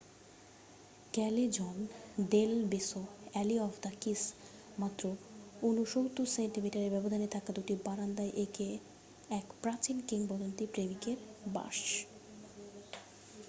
ক্যালেজন del Beso alley of the kiss. মাত্র 69 সেন্টিমিটারের ব্যবধানে থাকা দুটি বারান্দায় এক প্রাচীন কিংবদন্তি প্রেমিকের বাস।